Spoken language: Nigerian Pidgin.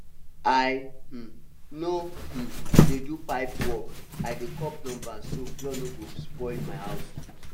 i um no um dey do pipe work i dey call plumber so flood no go spoil my house